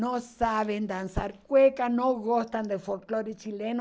Não sabem dançar cueca, não gostam do folclore chileno.